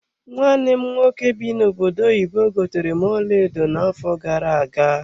Nwanne m nwoke bi n'obodo oyibo gotere m ọlaedo na-afo gara-aga.